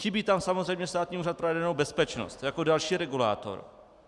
Chybí tam samozřejmě Státní úřad pro jadernou bezpečnost jako další regulátor.